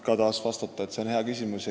Saan taas märkida, et see on hea küsimus.